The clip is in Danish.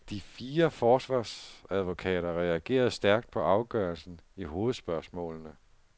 De fire forsvarsadvokater reagerede stærkt på afgørelsen i hovedspørgsmålene.